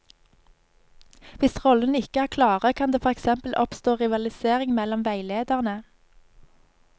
Hvis rollene ikke er klare, kan det for eksempel oppstå rivalisering mellom veilederne.